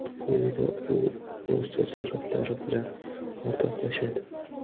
Quyida u o‘z taassurotlari bilan o‘rtoqlashadi.